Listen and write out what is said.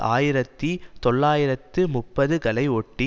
ஆயிரத்தி தொள்ளாயிரத்து முப்பது களை ஒட்டி